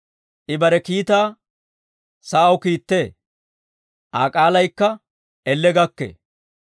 I bare kiitaa sa'aw kiittee; Aa k'aalaykka elle gakkee.